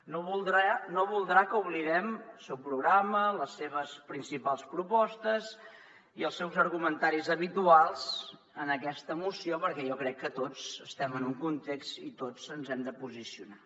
no deu voler que oblidem el seu programa les seves principals propostes i els seus argumentaris habituals en aquesta moció perquè jo crec que tots estem en un context i tots ens hem de posicionar